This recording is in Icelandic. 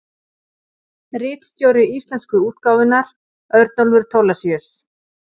Ritstjóri íslensku útgáfunnar: Örnólfur Thorlacius.